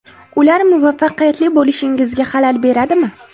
Ular muvaffaqiyatli bo‘lishingizga xalal beradimi?